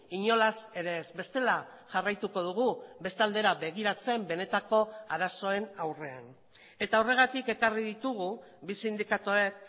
inolaz ere ez bestela jarraituko dugu beste aldera begiratzen benetako arazoen aurrean eta horregatik ekarri ditugu bi sindikatuek